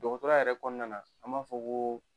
Dɔgɔtɔrɔya yɛrɛ kɔɔna na an b'a fɔ ko